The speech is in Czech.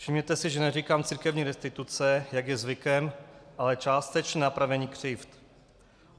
Všimněte si, že neříkám církevní restituce, jak je zvykem, ale částečné napravení křivd.